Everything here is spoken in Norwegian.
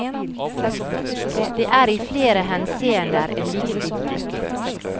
Det er i flere henseender en viktig bok.